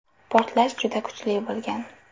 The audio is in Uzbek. Portlash juda kuchli bo‘lgan.